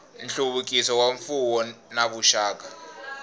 nhluvukiso wa mfuwo na vuxaka